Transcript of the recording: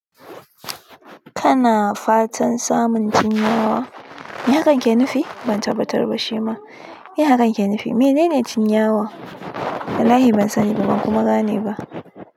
Kana fatan samun cin yawa? Me hakan ke nufi? Ban tabbatar ba shima, me hakan ke nufi? Menene cin yawa? Wallahi ban sani ba, ban kuma gane ba.